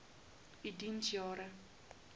u diens jare